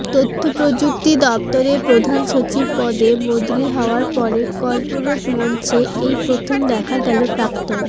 তথ্যপ্রযুক্তি দফতরের প্রধান সচিব পদে বদলি হওয়ার পরে কর্পোরেট মঞ্চে এই প্রথম দেখা গেল প্রাক্তন